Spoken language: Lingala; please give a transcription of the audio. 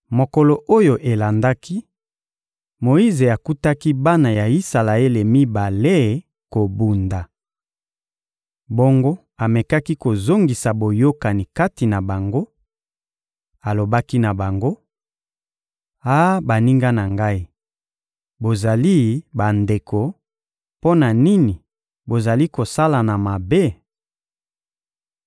Mokolo oyo elandaki, Moyize akutaki bana ya Isalaele mibale kobunda. Bongo amekaki kozongisa boyokani kati na bango; alobaki na bango: «Ah baninga na ngai, bozali bandeko; mpo na nini bozali kosalana mabe?»